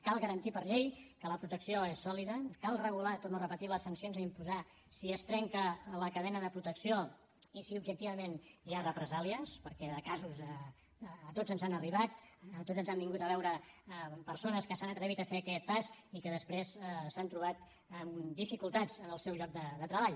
cal garantir per llei que la protecció és sòlida cal regular ho torno a repetir les sancions a imposar si es trenca la cadena de protecció i si objectivament hi ha represàlies perquè de casos a tots ens n’han arribat a tots ens han vingut a veure persones que s’han atrevit a fer aquest pas i que després s’han trobat amb dificultats en el seu lloc de treball